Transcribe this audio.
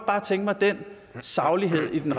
bare tænke mig den saglighed i den